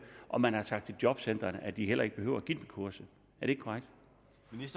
og man har sagt til jobcentrene at de heller ikke behøver at give dem kurset